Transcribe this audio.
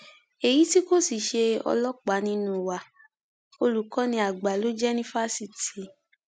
èyí tí kò sì ṣe ọlọpàá nínú wa olùkọni àgbà ló jẹ ní fásitì